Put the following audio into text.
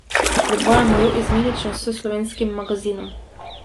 Predvajamo jo izmenično s Slovenskim magazinom.